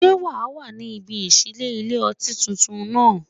Ṣé́ wà á wà ní ibi ìṣílé ilé-ọtí tuntun náà?